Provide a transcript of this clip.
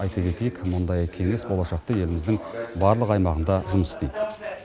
айта кетейік мұндай кеңес болашақта еліміздің барлық аймағында жұмыс істейді